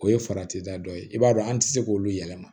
O ye farati da dɔ ye i b'a dɔn an tɛ se k'olu yɛlɛma